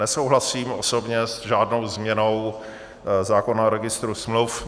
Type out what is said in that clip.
Nesouhlasím osobně s žádnou změnou zákona o registru smluv.